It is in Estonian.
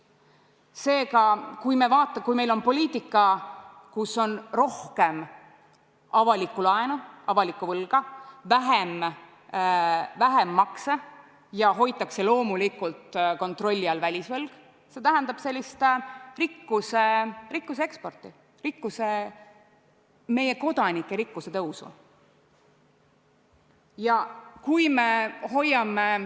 Seega, kui meil on poliitika, et on rohkem avalikku laenu, avalikku võlga, vähem makse, ja hoitakse loomulikult kontrolli all välisvõlg, siis see tähendab rikkuse eksporti, meie kodanike rikkuse tõusu.